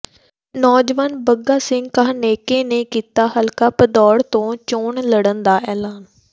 ਨੌਜਵਾਨ ਬੱਗਾ ਸਿੰਘ ਕਾਹਨੇਕੇ ਨੇ ਕੀਤਾ ਹਲਕਾ ਭਦੌੜ ਤੋਂ ਚੋਣ ਲੜਨ ਦਾ ਐਲਾਨ